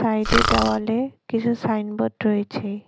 সাইডের দেওয়ালে কিছু সাইনবোর্ড রয়েছে।